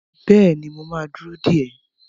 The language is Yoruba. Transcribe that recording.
Bẹ́ẹ̀ni, mo ma dúró dè ẹ́